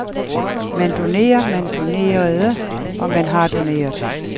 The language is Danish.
Man donerer, man donerede, og man har doneret.